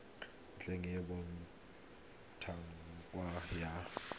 ntlha e e botlhokwa ya